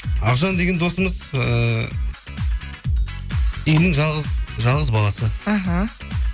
ақжан деген досымыз ыыы үйдің жалғыз баласы іхі